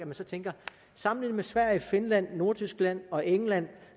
tænker sammenlignet med sverige finland nordtyskland og england